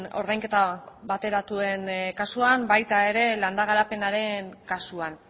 ordainketa bateratuen kasuan baita ere landa garapenaren kasuan